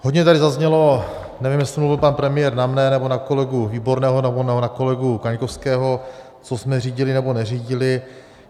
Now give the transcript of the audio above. Hodně tady zaznělo, nevím, jestli mluvil pan premiér na mne, nebo na kolegu Výborného, nebo na kolegu Kaňkovského, co jsme řídili nebo neřídili.